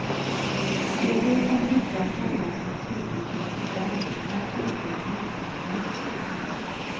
Det är det som brukar kallas naturlig resistens, naturlig motståndskraft.